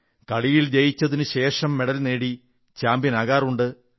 കളിയിൽ ജയിച്ചതിനു ശേഷം മെഡൽ നേടി ചാംപ്യൻ ആകാറുണ്ട